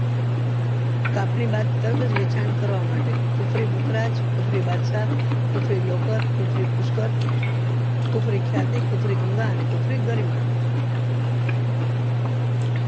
કપની બાદ તરત જ વેચાણ કરવા માટે કુફરી કુફરી કુફરી બાદશાહ કુફરી લોકર કુફરી પુષ્કળ કુફરી ખ્યાતી કુફરી ગંગા અને કુરફી ગઈરીમાં